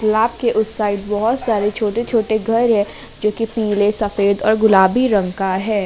लाब के उस साइड बहुत सारे छोटे छोटे घर है जो की पीले सफेद और गुलाबी रंग का है।